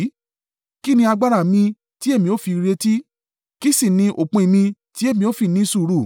“Kí ní agbára mi tí èmi ó fi retí? Kí sì ní òpin mi tí èmi ó fi ní sùúrù?